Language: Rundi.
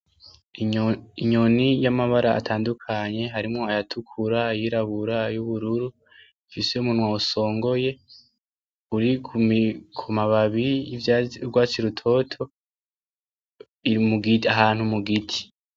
Inyoni y'amabara atandukanye harimwo ayatukura ayirabura ay'ubururu ufise umunwa usongoye. Uri kumababi y'urwatsi rutoto iri ahantu mu giti.